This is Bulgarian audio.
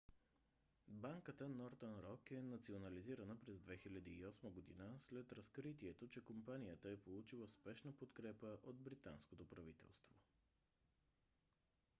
банката northern rock е национализирана през 2008 г. след разкритието че компанията е получила спешна подкрепа от британското правителство